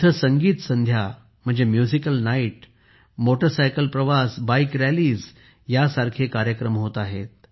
तिथे संगीत संध्या म्युझिकल नाईट मोटारसायकल प्रवास बाईक रॅलीज ह्या सारखे कार्यक्रम होत आहेत